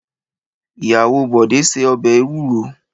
Ìyàwọ Bọ̀dé se ọbẹ̀ ewúro.